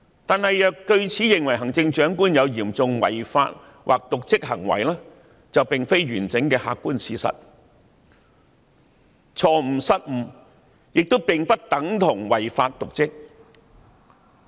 然而，若據此認為行政長官有嚴重違法或瀆職行為，便並非完整的客觀事實，因為錯誤、失誤並不等同於違法、瀆職。